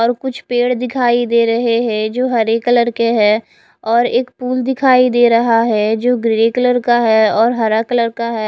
और कुछ पेड़ दिखाई दे रहे है जो हरे कलर के है और एक फुल दिखाई दे रहा है जो ग्रे कलर का है और हरा कलर का है।